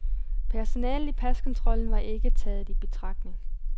Personalet i paskontrollen var ikke taget i betragtning.